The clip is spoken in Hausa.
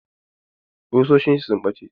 Ƙusoshin sa sun ɓace.